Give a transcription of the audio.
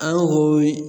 An ko